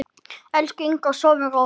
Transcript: Elsku Ingó, sofðu rótt.